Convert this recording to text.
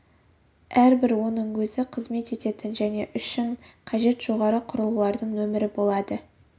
әрбір оның өзі қызмет ететін және үшін қажет жоғары құрылғылардың нөмірі болады